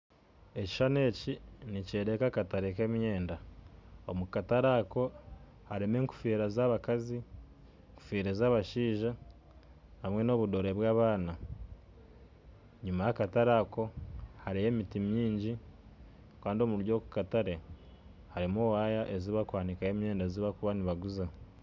ekishushani ekyo nikyoreeka akatare nk'emyenda kandi omu katare ako harimu enkofiira z'abakazi hamwe n'ez'abashaija hamwe n'obudore bw'abaana, enyima y'akatare ako hariyo emiti mingi kandi omu katare hariho waaya ezi barikuhanikaho emyenda ei barikuba nibaguza